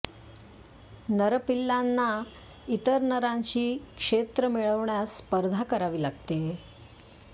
नर पिल्लांना इतर नरांशी क्षेत्र मिळवण्यास स्पर्धा करावी लागते